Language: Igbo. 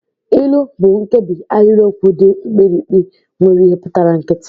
Ilu bụ nkebi ahịrịokwu dị mkpirikpi nwere ihe pụtara nkịtị